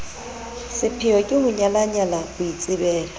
sepheyo ke ho nyalanya boitsebelo